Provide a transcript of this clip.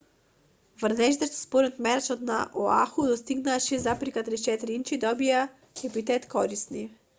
врнежите што според мерачот на оаху достигнаа 6,34 инчи добија епитет корисни